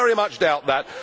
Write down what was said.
I very much doubt that.